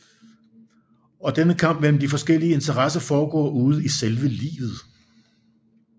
Og denne kamp mellem de forskellige Interesser foregår ude i selve livet